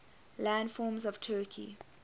landforms of turkey